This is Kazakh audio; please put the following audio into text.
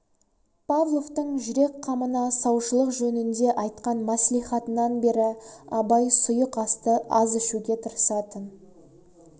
павловтың жүрек қамында саушылық жөнінде айтқан мәслихатынан бері абай сұйық асты аз ішеуге тырысатын